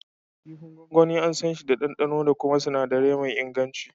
Kifi gwangwani, an sanshi da ɗanɗano da kuma sinadirai me inganci.